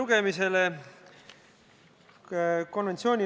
Selline oli eelnõu põhjendus.